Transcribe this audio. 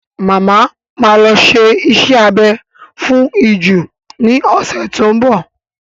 Màmá ma lọ ṣe iṣẹ́ abẹ fún ìju ní ọ̀sẹ̀ tó ń bọ̀.